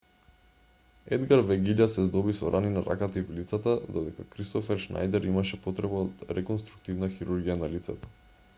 едгар вегиља се здоби со рани на раката и вилицата додека кристофер шнајдер имаше потреба од реконструктивна хирургија на лицето